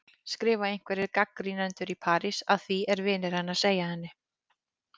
skrifa einhverjir gagnrýnendur í París, að því er vinir hennar segja henni.